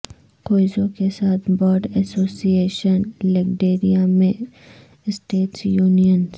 کوئزوں کے ساتھ border association لیگٹریٹیا میں اسٹیٹس یونینز